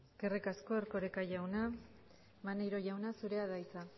eskerrik asko erkoreka jauna maneiro jauna zurea da hitza